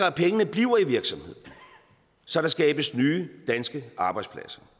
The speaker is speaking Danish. at pengene bliver i virksomheden så der skabes nye danske arbejdspladser